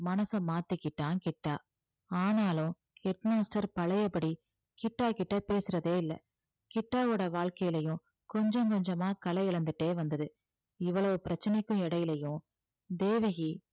மனச மாத்திக்கிட்டான் கிட்டா ஆனாலும் head master பழையபடி கிட்டா கிட்ட பேசுறதே இல்லை கிட்டாவோட வாழ்க்கையிலையும் கொஞ்சம் கொஞ்சமா கலை இழந்துட்டே வந்தது இவ்வளவு பிரச்சனைக்கும் இடையிலயும் தேவகி